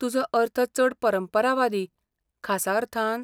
तुजो अर्थ चड परंपरावादी, खासा अर्थान?